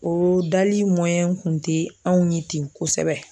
O dali kun tɛ anw ye ten kosɛbɛ.